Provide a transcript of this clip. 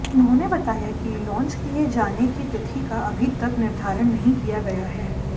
उन्होंनें बतायाकि लांच किए जाने की तिथि का अभीतक निर्धारण नहीं किया गया है